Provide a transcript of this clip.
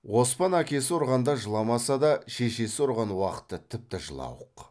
оспан әкесі ұрғанда жыламаса да шешесі ұрған уақытта тіпті жылауық